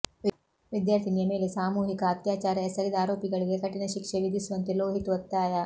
ವಿದ್ಯಾರ್ಥಿನಿಯ ಮೇಲೆ ಸಾಮೂಹಿಕ ಅತ್ಯಾಚಾರ ಎಸಗಿದ ಆರೋಪಿಗಳಿಗೆ ಕಠಿಣ ಶಿಕ್ಷೆ ವಿಧಿಸುವಂತೆ ಲೋಹಿತ್ ಒತ್ತಾಯ